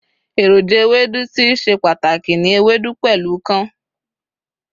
eroja Ewédú ti í se pàtàkì ni Ewédú pẹlu kaun